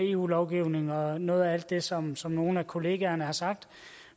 eu lovgivning og noget af alt det som som nogle af kollegaerne har sagt